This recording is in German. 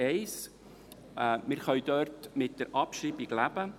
1. Wir können mit der Abschreibung derselben leben.